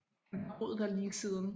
Han har boet der lige siden